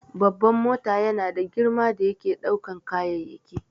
Babban mota yana da girma da yake ɗaukan kayayyaki